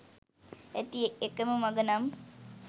ඇති එකම මග නම්